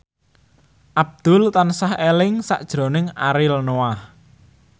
Abdul tansah eling sakjroning Ariel Noah